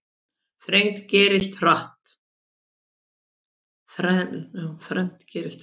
Þrennt gerðist, hratt.